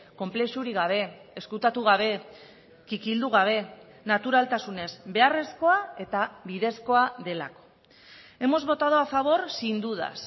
konplexurik gabe ezkutatu gabe kikildu gabe naturaltasunez beharrezkoa eta bidezkoa delako hemos votado a favor sin dudas